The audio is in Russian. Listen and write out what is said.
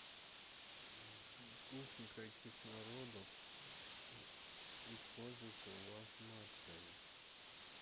кухня каких народов используется в вашем отеле